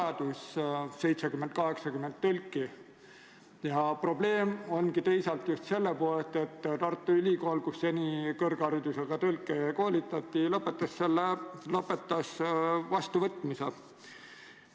Ma kindlasti arvan, et kogu temaatika, mis on seotud inimeste kuulmislangusega, peab olema ühiskonnas ühelt poolt väga hästi märgatud, teiselt poolt peavad olemas olema kõikvõimalikud tugistruktuurid, mis tagavad inimestele, kellel kuulmislangus juba on, toetused vajalike aparaatide ja mehhanismide soetamiseks.